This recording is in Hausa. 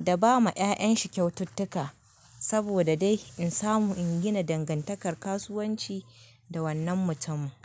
da ba ma ƴa'ƴanshi kyaututtuka saboda dai in samu in gina dangantakar kasuwanci da wannan mutum.